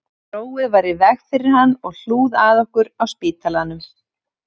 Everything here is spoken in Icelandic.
Róið var í veg fyrir hann og hlúð að okkur á spítala